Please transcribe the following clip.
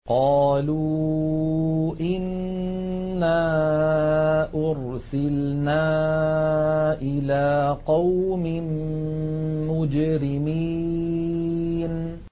قَالُوا إِنَّا أُرْسِلْنَا إِلَىٰ قَوْمٍ مُّجْرِمِينَ